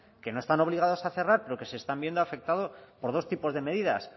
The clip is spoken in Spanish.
que no están obligadas a cerrar pero que se están viendo afectados por dos tipos de medidas